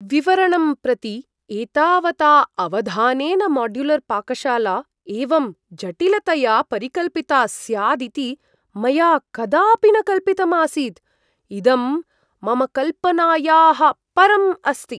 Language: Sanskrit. विवरणं प्रति एतावता अवधानेन माड्युलर्पाकशाला एवं जटिलतया परिकल्पिता स्याद् इति मया कदापि न कल्पितम् आसीत्, इदं मम कल्पनायाः परम् अस्ति।